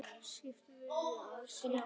Skortir viljann til að sjá.